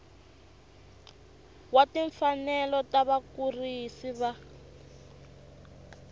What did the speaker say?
wa timfanelo ta vakurisi va